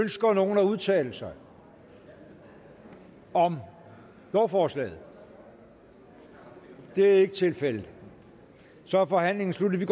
ønsker nogen at udtale sig om lovforslaget det er ikke tilfældet så er forhandlingen sluttet